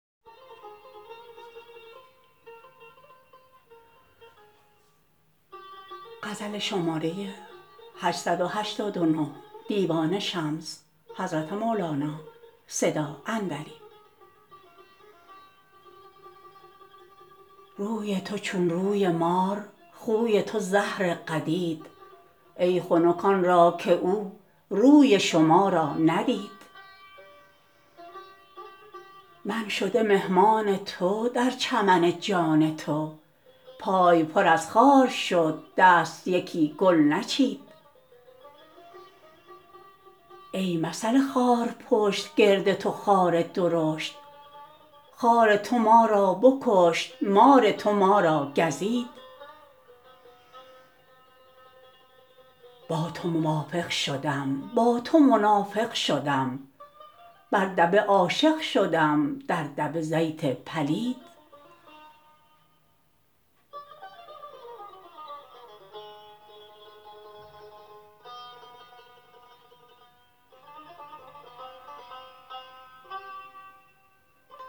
روی تو چون روی مار خوی تو زهر قدید ای خنک آن را که او روی شما را ندید من شده مهمان تو در چمن جان تو پای پر از خار شد دست یکی گل نچید ای مثل خارپشت گرد تو خار درشت خار تو ما را بکشت مار تو ما را گزید با تو موافق شدم با تو منافق شدم بر دبه عاشق شدم در دبه زیت پلید